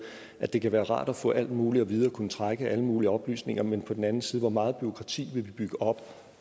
at det kan være rart at få alt muligt at vide og kunne trække alle mulige oplysninger men på den anden side hvor meget bureaukrati vil vi bygge op